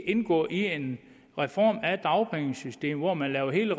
indgå i en reform af dagpengesystemet hvor man laver hele